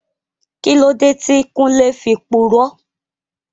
Kíló dé tí Kúnlé fi purọ́?